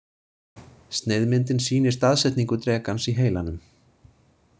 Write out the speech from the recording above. Sneiðmyndin sýnir staðsetningu drekans í heilanum.